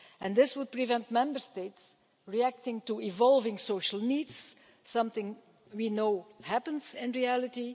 This would prevent Member States reacting to evolving social needs, something we know happens in reality.